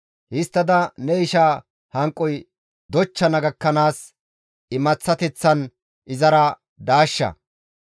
Histtada ne ishaa hanqoy dochchana gakkanaas imaththateththan izara daashsha.